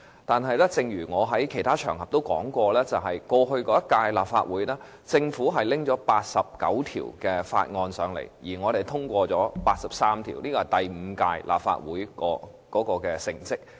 但是，正如我在其他場合指出，過去一屆立法會期間，政府提交了89項法案，我們通過了83項，這是第五屆立法會的成績。